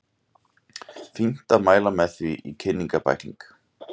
Fínt að mæla með því í kynningarbækling.